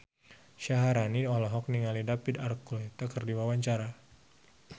Syaharani olohok ningali David Archuletta keur diwawancara